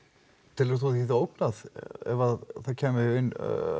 telur þú því ógnað ef það kæmi inn